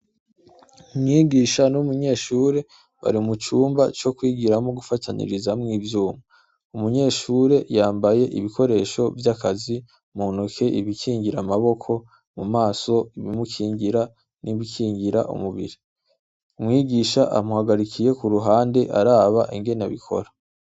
Umwigisha umunyeshure bari mucumba co kwigiramwo gufatanya ivyuma, umunyeshure yambaye ibikoresho vyakazi muntoke ibikingira amaboko, mumaso ibimukingira ibikingira umubiri. Umwigisha amuhagarikiye kuruhande araba ingene babikora.